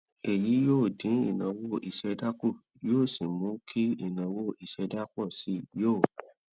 èyí yóò dín ìnáwó ìṣẹdá kù yóò sì mú kí ìnáwó ìṣẹdá pọ sí i yóò